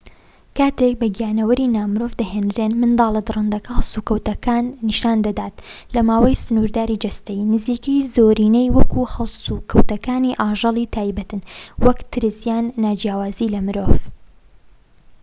کاتێک بە گیانەوەری نا مرۆڤ دەهێنرێن، منداڵە دڕندەکە هەڵس و کەوتەکان نیشاندەدات لە ماوەی سنوورداری جەستەیی نزیکەی زۆرینەی وەک هەڵس و کەوتەکانی ئاژەڵی تایبەتن، وەک ترس یان ناجیاوازی لە مرۆڤ